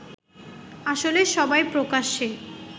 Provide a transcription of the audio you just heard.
আসলে সবাই প্রকাশ্যে